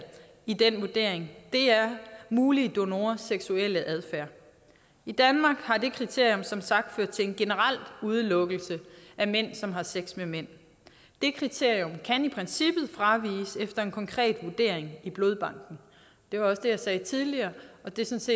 i den vurdering er mulige donorers seksuelle adfærd i danmark har det kriterium som sagt ført til en generel udelukkelse af mænd som har sex med mænd det kriterium kan i princippet fraviges efter en konkret vurdering i blodbanken det var også det jeg sagde tidligere og det synes